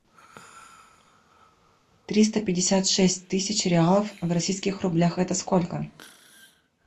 триста пятьдесят шесть тысяч реалов в российских рублях это сколько